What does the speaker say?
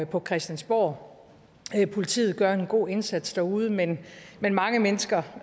på christiansborg politiet gør en god indsats derude men men mange mennesker